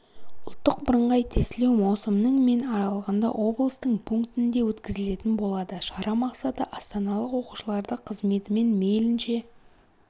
ұлттық бірыңғай тестілеу маусымның мен аралығында облыстың пунктінде өткізілетін болады шара мақсаты астаналық оқушыларды қызметімен мейлінше